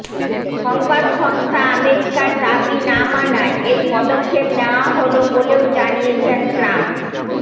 সংবাদসংস্থা আমেরিকার দাবি না মানায় এই পদক্ষেপ নেওয়া হল বলেও জানিয়েছেন ট্রাম্প